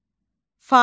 Fasılə.